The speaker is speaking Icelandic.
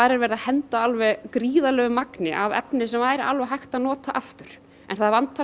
er verið að henda gríðarlegu magni af efni sem væri hægt að nota aftur en það vantar